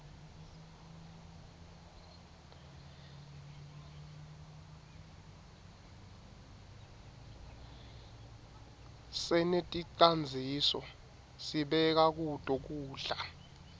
seneticandzisa sibeka kuto kudla